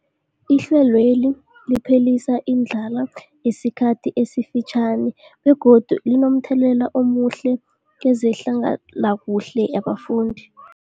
Ihlelweli liphelisa indlala yesikhathi esifitjhani begodu linomthelela omuhle kezehlalakuhle yabafundi.